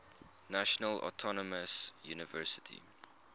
national autonomous university